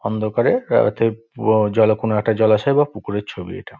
অন্ধকারে হয়তো জলে কোনো একটা জলাশয়ের বা পুকুরের ছবি এটা।